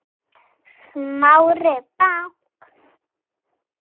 Smári bank